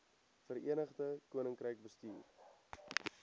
verenigde koninkryk bestuur